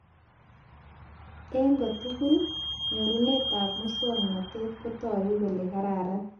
Eng kotugul , nyorunetab muswoknotet kotoku kole kararan